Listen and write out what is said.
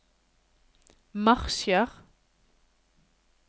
marsjer